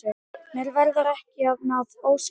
Mér verður ekki að ósk minni.